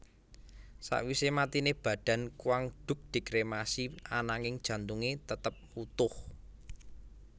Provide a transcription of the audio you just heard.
Sawise matiné badan Quang Duc dikremasi ananging jantungé tetap wutuh